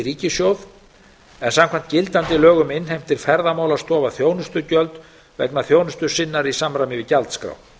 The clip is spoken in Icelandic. ríkissjóð en samkvæmt gildandi lögum innheimtir ferðamálastofa þjónustugjöld vegna þjónustu sinnar í samræmi við gjaldskrá